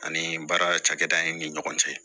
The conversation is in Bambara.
Ani baara cakɛda in ni ɲɔgɔn cɛ